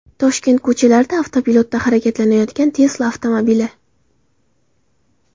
Toshkent ko‘chalarida avtopilotda harakatlanayotgan Tesla avtomobili.